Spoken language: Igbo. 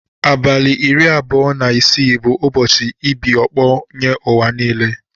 Abali iri abụọ na isi bu ụbọsi ibia ọkpọ nye uwa nile.